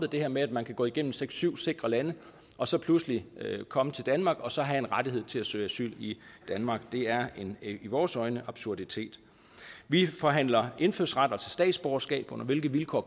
det her med at man kan gå igennem seks syv sikre lande og så pludselig komme til danmark og så have en rettighed til at søge asyl i danmark er i vores øjne absurditet vi forhandler indfødsret altså statsborgerskab under hvilke vilkår